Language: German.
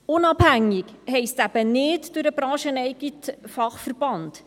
«Unabhängig» heisst eben nicht durch den brancheneigenen Fachverband.